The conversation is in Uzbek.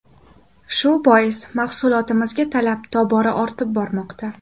Shu bois mahsulotimizga talab tobora ortib bormoqda.